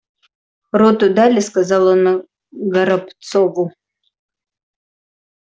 роту дали сказал он горобцову